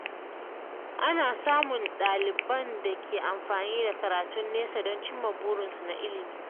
Ana samun ɗaliban da ke amfani da karatun nesa don cimma burinsu na ilimi.